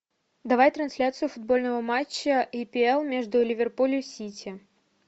давай трансляцию футбольного матча апл между ливерпуль и сити